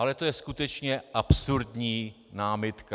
Ale to je skutečně absurdní námitka.